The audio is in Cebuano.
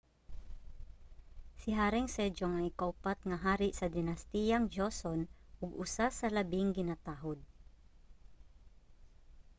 si haring sejong ang ikaupat nga hari sa dinastiyang joseon ug usa sa labing ginatahud